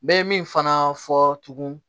N bɛ min fana fɔ tugun